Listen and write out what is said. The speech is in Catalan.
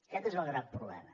aquest és el gran problema